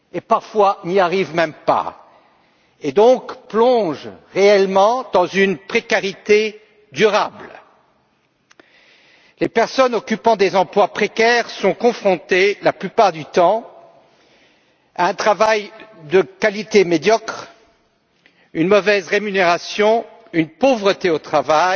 Parfois, ils n'y arrivent même pas et plongent donc réellement dans une précarité durable. Les personnes occupant des emplois précaires sont, la plupart du temps, confrontées à un travail de qualité médiocre, à une mauvaise rémunération, à la pauvreté au travail,